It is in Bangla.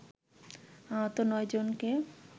আহত নয় জনকে